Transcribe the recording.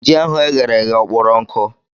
Ji ahụ e ghere eghe ọ kpọrọ nkụ?